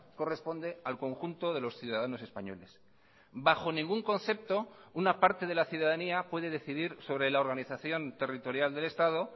corresponde al conjunto de los ciudadanos españoles bajo ningún concepto una parte de la ciudadanía puede decidir sobre la organización territorial del estado